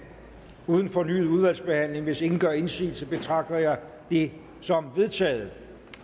uden fornyet udvalgsbehandling hvis ingen gør indsigelse betragter jeg det som vedtaget